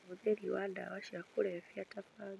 Ũhũthĩri wa ndawa cia kũrebia ta bangi,